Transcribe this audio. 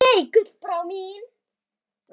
Nei, Gullbrá mín.